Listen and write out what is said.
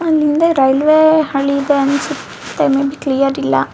ಅಲ್ಲಿಂದ ರೈಲ್ವೆ ಹಳಿ ಇದೆ ಅನ್ನಸುತ್ತೆ ಮೇ ಬಿ ಕ್ಲಿಯರ್ ಇಲ್ಲಾ.